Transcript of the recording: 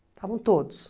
Estavam todos.